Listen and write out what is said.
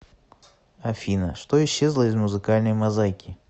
афина что исчезло из музыкальной мозаики